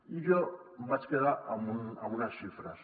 i jo em vaig quedar amb unes xifres